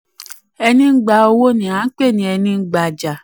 24. ẹni ń gbà owó ni a um pè ní ẹní ń um gbajà.